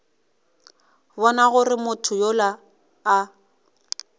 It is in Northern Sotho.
bona gore motho yola a